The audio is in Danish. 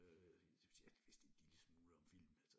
Øh jeg vidste en lille smule om film altså